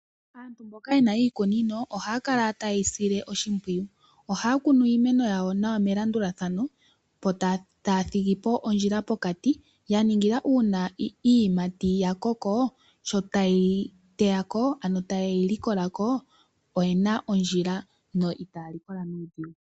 Aantu mboka yena iikunino ohaya kala ta yeyi sile oshimpwiyu. Ohaya kunu iimeno yawo nawa melandulathano yo taya thigipo ondjila pokati ya ningile uuna iiyimati ya koko sho ta yeyi teyako oyena ondjila no itaya likola nuudhigu.